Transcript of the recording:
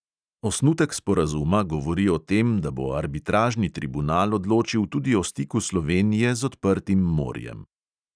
Osnutek sporazuma govori o tem, da bo arbitražni tribunal odločil tudi o stiku slovenije z odprtim morjem.